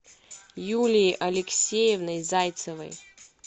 юлией алексеевной зайцевой